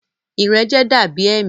Ìrẹjẹ da bi ẹmi.